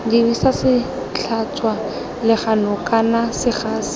dirisa setlhatswa legano kana segasi